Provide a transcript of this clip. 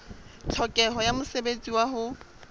tlhokeho ya mosebetsi wa ho